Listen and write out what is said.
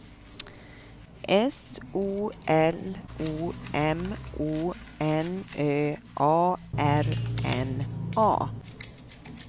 S O L O M O N Ö A R N A